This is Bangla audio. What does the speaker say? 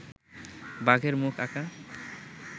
বাঘের মুখ আঁকা